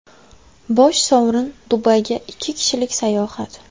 Bosh sovrin – Dubayga ikki kishilik sayohat!